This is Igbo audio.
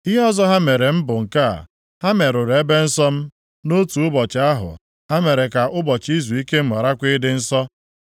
Ihe ọzọ ha mere m bụ nke a: Ha merụrụ ebe nsọ m nʼotu ụbọchị ahụ ha mere ka ụbọchị izuike m gharakwa ịdị nsọ.